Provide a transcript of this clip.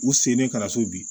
U sen bɛ ka na so bi